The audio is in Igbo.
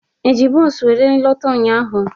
Eji bos wéré lọta ụnyaahụ?